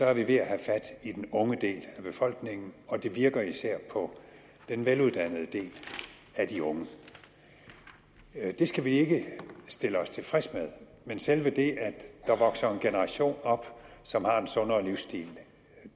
er ved at have fat i den unge del af befolkningen og det virker især på den veluddannede del af de unge det skal vi ikke stille os tilfreds med men selve det at der vokser en generation op som har en sundere livsstil